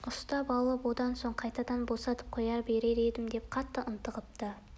ұстап алып одан соң қайтадан босатып қоя берер едім деп қатты ынтығыпты